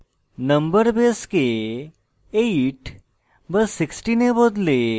number base 8 বা 16 এ বদলে